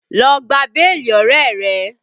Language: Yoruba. Lọ gba béèlì ọ̀rẹ́ rẹ!